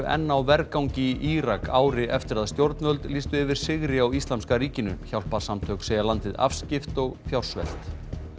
enn á vergangi í Írak ári eftir að stjórnvöld lýstu yfir sigri á Íslamska ríkinu hjálparsamtök segja landið afskipt og fjársvelt